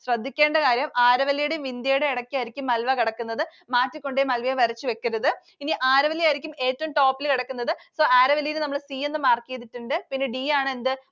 ശ്രദ്ധിക്കേണ്ട കാര്യം Aravalli യുടെയും Vindya യുടെയും ഇടക്കായിരിക്കും Malwa കിടക്കുന്നത്. മാറ്റിക്കൊണ്ടുപോയി Malwa യെ വരച്ചു വെക്കരുത്. ഇനി Aravalli യായിരിക്കും ഏറ്റവും top ൽ കിടക്കുന്നത്. So Aravalli നമ്മൾ C എന്ന് mark ചെയ്തിട്ടുണ്ട്. പിന്നെ D ആണ് എന്ത്?